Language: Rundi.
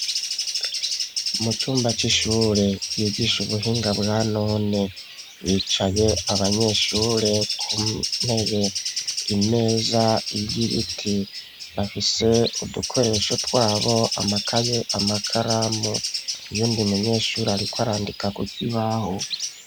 Muvyumba vy'ishure vyigisha ubuhinga bwa none bicaye abanyeshure kuntebe imeza y'ibiti bafise udukoresho twabo amakaye amakaramu yuwundi munyeshure ariko arandika kukibaho.